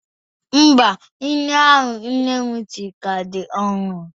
Mba, nri ahụ nne m siri ka dị ọhụrụ.